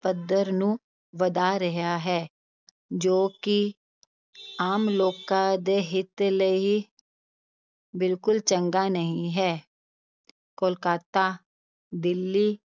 ਪੱਧਰ ਨੂੰ ਵਧਾ ਰਿਹਾ ਹੈ, ਜੋ ਕਿ ਆਮ ਲੋਕਾਂ ਦੇ ਹਿੱਤ ਲਈ ਬਿਲਕੁਲ ਚੰਗਾ ਨਹੀਂ ਹੈ ਕੋਲਕਾਤਾ, ਦਿੱਲੀ